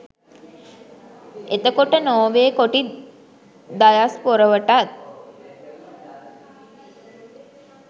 එතකොට නොර්වේ කොටි දයස්පොරවටත්